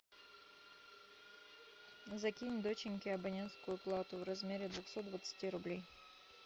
закинь доченьке абонентскую плату в размере двухсот двадцати рублей